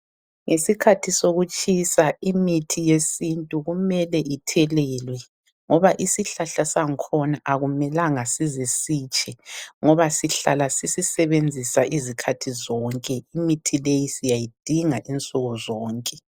Ngesikhathi sokutshisa imithi yesintu kumele ithelelwe ngoba isihlahla sakhona akumelanga size sitshe ngoba sihlala sisisebenzisa izikhathi zonke. Imithi leyi siyayidinga insukuzonke.